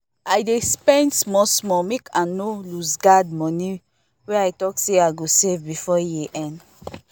i dey spend small small make i no looseguard money wey i talk say i go save before year end